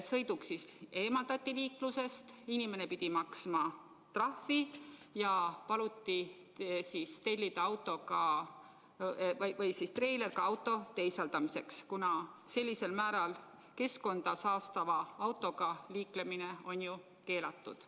Sõiduk eemaldati liiklusest, inimene pidi maksma trahvi ja tal paluti tellida treiler auto äravedamiseks, kuna sellisel määral keskkonda saastava autoga liiklemine on keelatud.